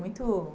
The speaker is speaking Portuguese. Muito